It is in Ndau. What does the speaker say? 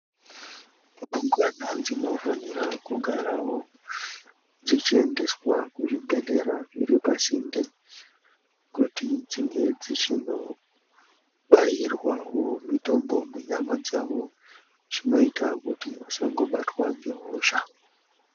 Ndumurwa dzinofana kugarawo dzichiendeswa kuchibhedhlera zviri pasinde kuti dzinge dzichinobairwawo mitombo munyama dzawo zvinoita vasangobatwa nehosha.